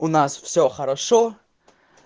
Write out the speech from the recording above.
у нас все хорошо